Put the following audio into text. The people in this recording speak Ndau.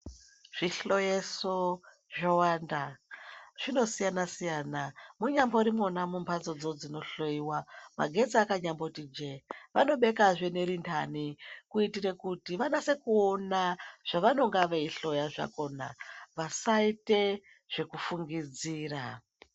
Zvihloyeso zvowanda zvinosiyana-siyana munyamborimwona mumhatso dzinohoiwa magetsi akanyamboti jee vanobekazve neri ndani. Kuitire kuti vanase kuona zvavanonga veihloya zvakona vasaite zvekufungidzira.